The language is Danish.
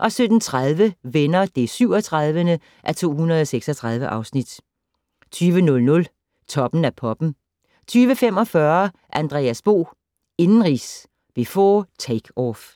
17:30: Venner (37:236) 20:00: Toppen af poppen 20:45: Andreas Bo - indenrigs, before takeoff